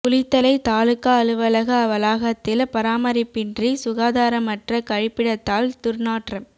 குளித்தலை தாலுகா அலுவலக வளாகத்தில் பராமரிப்பின்றி சுகாதாரமற்ற கழிப்பிடத்தால் துர் நாற்றம்